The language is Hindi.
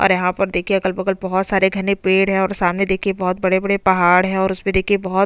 अ घने जंगल जैसे पेड़ उसपे उगे हुए है और आसमान का रंग देखिये नीला है और यहाँ पर देखिये कुछ मिट्टी जैसे मैदान भी है।